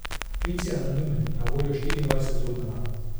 Klic je anonimen in na voljo štiriindvajset ur na dan.